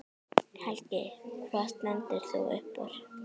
Helgi: Hvað stendur upp úr?